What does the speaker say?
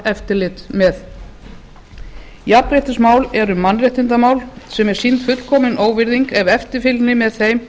eftirlit með jafnréttismál eru mannréttindamál sem er sýnd fullkomin óvirðing ef eftirfylgni með þeim